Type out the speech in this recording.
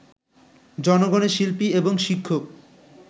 জনগণের শিল্পী এবং শিক্ষক